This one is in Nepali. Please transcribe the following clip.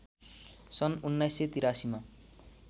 सन् ११८३ मा